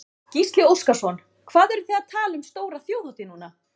Gísli Óskarsson: Hvað eruð þið að tala um stóra þjóðhátíð núna?